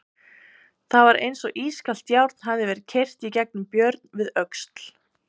Það var eins og ískalt járn hefði verið keyrt í gegnum Björn við öxl.